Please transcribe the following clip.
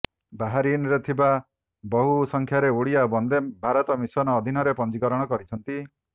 ବାହାରିନରେ ଥିବା ବହୁ ସଂଖ୍ୟାରେ ଓଡ଼ିଆ ବନ୍ଦେ ଭାରତ ମିଶନ ଅଧୀନରେ ପଞ୍ଜୀକରଣ କରିଛନ୍ତି